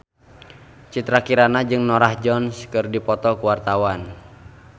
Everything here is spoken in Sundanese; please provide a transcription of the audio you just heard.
Citra Kirana jeung Norah Jones keur dipoto ku wartawan